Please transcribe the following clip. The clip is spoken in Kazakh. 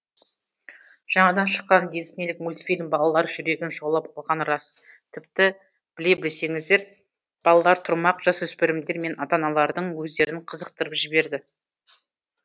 жаңадан шыққан диснейлік мультфильм балалар жүрегін жаулап алғаны рас тіпті біле білсеңіздер балалар тұрмақ жасөспірімдер мен ата аналардың өздерін қызықтырып жіберді